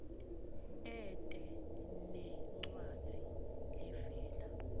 ete nencwadzi levela